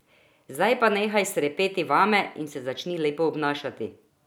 Zdaj pa nehaj srepeti vame in se začni lepo obnašati!